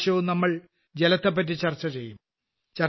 ഇപ്രാവശ്യവും നമ്മൾ ജലത്തെപ്പറ്റി ചർച്ചചെയ്യും